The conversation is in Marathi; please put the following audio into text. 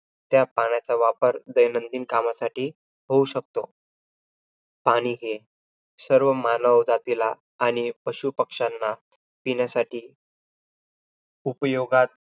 त्या पाण्याचा वापर दैंनदिन कामासाठी होऊ शकतो. पाणी हे सर्व मानव जातीला आणि पशुपक्षांना पिण्यासाठी उपयोगात